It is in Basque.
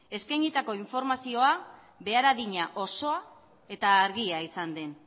eskainitako informazioa behar adina osoa eta argia izan den